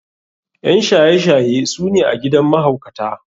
ƴan shaye shaye su ne a gidan mahaukata.